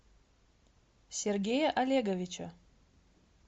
сергея олеговича